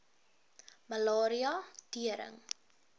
malaria tering